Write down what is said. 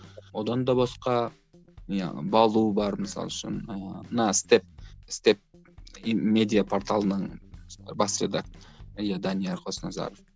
одан да басқа не балу бар мысалы үшін ыыы на степ степ медиа порталының бас иә данияр қосназар